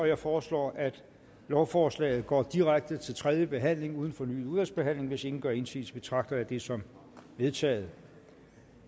jeg foreslår at lovforslaget går direkte til tredje behandling uden fornyet udvalgsbehandling hvis ingen gør indsigelse betragter jeg det som vedtaget